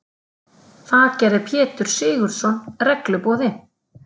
Það gerði Pétur Sigurðsson regluboði.